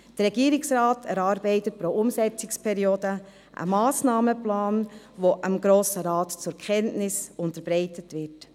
Der Regierungsrat erarbeitet pro Umsetzungsperiode einen Massnahmenplan, der dem Grossen Rat zur Kenntnis unterbreitet wird.